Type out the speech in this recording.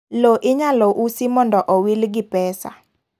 Lo inyalo usi momdo owil gi pesa